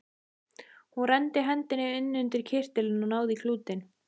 Hún renndi hendinni inn undir kyrtilinn og náði í klútinn.